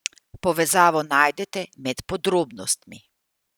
Povezavo najdete med podrobnostmi.